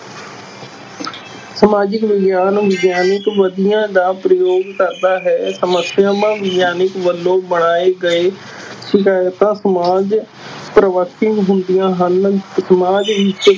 ਸਮਾਜਿਕ ਵਿਗਿਆਨ ਵਿਗਿਆਨਿਕ ਵਿਧੀਆਂ ਦਾ ਪ੍ਰਯੋਗ ਕਰਦਾ ਹੈ ਸਮੱਸਿਆਵਾਂ ਵਿਗਆਨਕ ਵਲੋਂ ਬਣਾਏ ਗਏ ਸਿਧਾਂਤ ਸਮਾਜ ਪਰਿਵਰਤੀ ਹੁੰਦੀਆਂ ਹਨ, ਸਮਾਜ ਵਿੱਚ